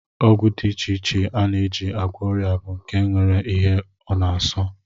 Ọgwụ dị iche iche a na-eji agwọ ọrịa bụ nke nwere ihe ọ na-asọ